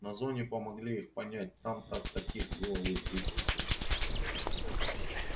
на зоне помогли их понять там-то таких было в избытке